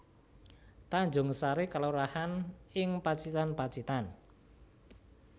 Tanjungsari kelurahan ing Pacitan Pacitan